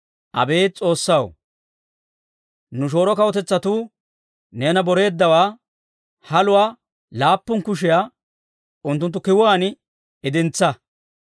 Abeet S'oossaw, nu shooro kawutetsatuu neena boreeddawaa, haluwaa laappun kushiyaa unttunttu kiwuwaan idintsa.